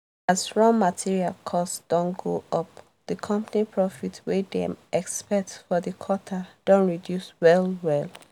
as raw material cost don go up the company profit wey dem expect for the quarter don reduce well well.